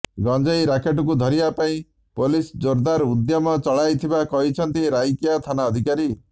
ଗଞ୍ଜେଇ ରାକେଟକୁ ଧରିବାପାଇଁ ପୋଲିସ ଜୋରଦାର୍ ଉଦ୍ୟମ ଚଳାଇଥିବା କହିଛନ୍ତି ରାଇକିଆ ଥାନା ଅଧିକାରୀ